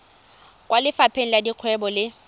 kwa lefapheng la dikgwebo le